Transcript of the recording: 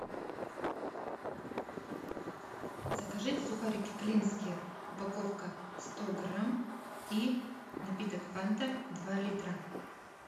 закажи сухарики клинские упаковка сто грамм и напиток фанта два литра